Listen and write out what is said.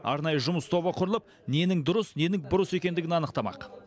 арнайы жұмыс тобы құрылып ненің дұрыс ненің бұрыс екендігін анықтамақ